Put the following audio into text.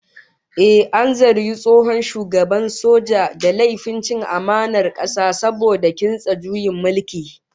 Ehh, an zargi tsohon shugaban mulkin soja da laifin cin amanar kasa saboda kintsa juyin mulki